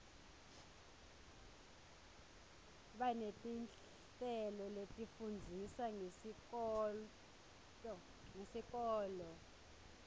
baneti nhleloletifundzisa ngesikoto